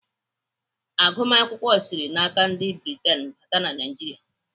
Agụmakwụkwọ sịrị n'aka ndị Britain bata na Naijiria.